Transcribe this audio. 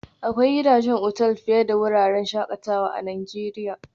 Akwai gidajen otal fiye da wuraren shakatawa a Najeriya